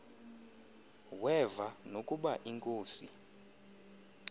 weva nokuba inkosi